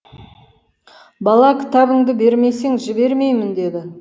бала кітабыңды бермесең жібермеймін деді